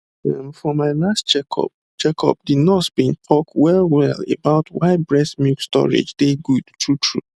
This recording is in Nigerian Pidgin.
ehm for my last checkup checkup the nurse been talk wellwell about why breast milk storage dey good truetrue